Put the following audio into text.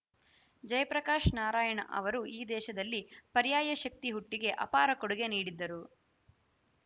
ಜಯಪ್ರಕಾಶ ನಾರಾಯಣ ಅವರು ಈ ದೇಶದಲ್ಲಿ ಪರ್ಯಾಯ ಶಕ್ತಿ ಹುಟ್ಟಿಗೆ ಅಪಾರ ಕೊಡುಗೆ ನೀಡಿದ್ದರು